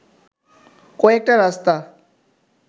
কয়েকটা রাস্তা